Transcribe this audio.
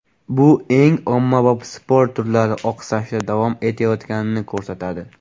Bu eng ommabop sport turlari oqsashda davom etayotganini ko‘rsatadi.